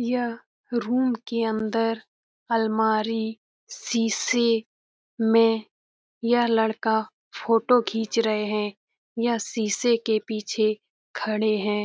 यह रूम के अंदर अलमारी सीसे मे यह लड़का फोटो खिच रहे है यह सीसे के पीछे खड़े है